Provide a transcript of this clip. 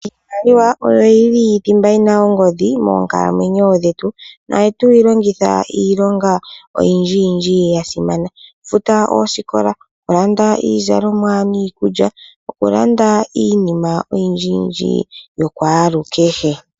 Iimaliwa oyo yili thimba yina ongodhi moonkalamwenyo dhetu nohatuyi longitha iilonga o